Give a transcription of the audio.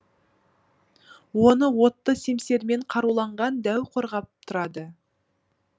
оны отты семсермен қаруланған дәу қорғап тұрады